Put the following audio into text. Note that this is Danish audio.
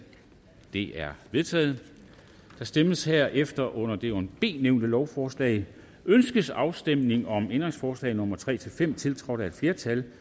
det er vedtaget der stemmes herefter under det under b nævnte lovforslag ønskes afstemning om ændringsforslag nummer tre fem tiltrådt af et flertal